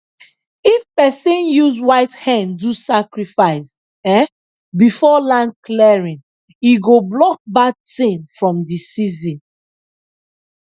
if person use white hen do sacrifice um before land clearing e go block bad thing from the season